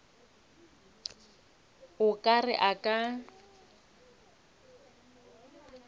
o ka re a ka